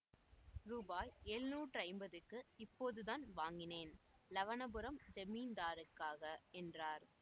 ரூபாய் எழுநூற்றைம்பதுக்கு இப்போதுதான் வாங்கினேன் லவனபுரம் ஜமீன்தாருக்காக என்றார்